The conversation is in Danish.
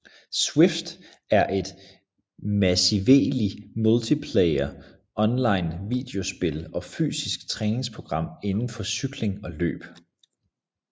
Zwift er et massively multiplayer online videospil og fysisk træningsprogram indenfor cykling og løb